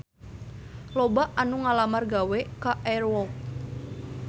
Loba anu ngalamar gawe ka Air Walk